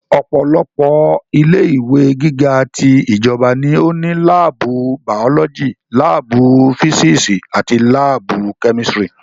Ọ̀pọ̀lọpọ̀ ilé ìwé gíga ti ìjọba ní ó ní láàbù bàọ́lọ́jì, láàbù físísì àti láàbù kẹ́mísítírì